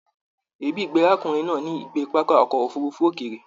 Èébì gbé arákùnrin náà ní ìgbé pápá ọkọ òfurùnfu òkéré